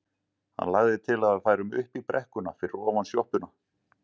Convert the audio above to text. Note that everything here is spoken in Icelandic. Hann lagði til að við færum upp í brekkuna fyrir ofan sjoppuna.